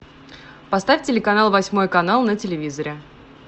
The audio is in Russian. поставь телеканал восьмой канал на телевизоре